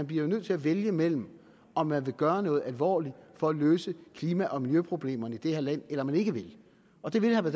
bliver nødt til at vælge mellem om man vil gøre noget alvorligt for at løse klima og miljøproblemerne i det her land eller om man ikke vil og det vil herre